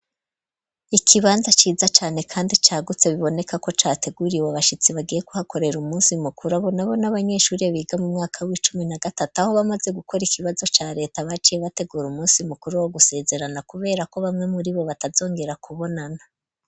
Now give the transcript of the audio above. Ikibanza ciza cane kandi cagutse biboneka ko categuriwe abashitsi bagiye kuhakorera umusi mukuru abo nabo n' abanyeshuri biga mu mwaka w'icumi na gatatu aho bamaze gukora ikibazo ca leta baciye bategura umunsi mukuru wo gusezerana kubera ko bamwe muri bo batazongera kubonana.